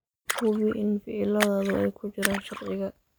Hubi in ficiladaadu ay ku jiraan sharciga.